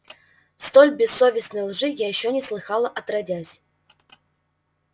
столь бессовестной лжи я ещё не слыхала отродясь